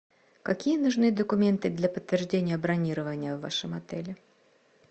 какие нужны документы для подтверждения бронирования в вашем отеле